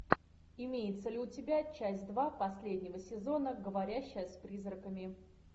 имеется ли у тебя часть два последнего сезона говорящая с призраками